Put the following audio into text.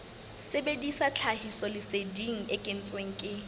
sebedisa tlhahisoleseding e kentsweng ke